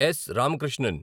Yes. Ramakrishnan